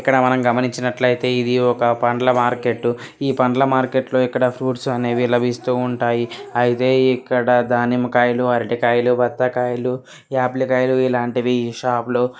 ఇక్కడ మనం గమనించినట్లైతే ఇది ఒక పండ్ల మార్కెట్. ఈ పండ్ల మార్కెట్ లో ఫ్రూట్స్ అనేవి లభిస్తూ ఉంటాయి. అయితే ఇక్కడ దానిమ్మ కాయలు అరటి కాయలు బత్తాయి కాయాల ఆపిల్ కాయలు ఇలాంటివి షాప్ లో --